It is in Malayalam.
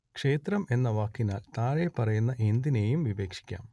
ക്ഷേത്രം എന്ന വാക്കിനാൽ താഴെപ്പറയുന്ന എന്തിനേയും വിവക്ഷിക്കാം